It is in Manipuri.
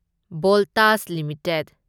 ꯚꯣꯜꯇꯥꯁ ꯂꯤꯃꯤꯇꯦꯗ